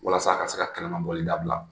Walasa a ka se ka kɛnɛmabɔli dabila